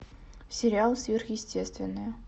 сериал сверхъестественное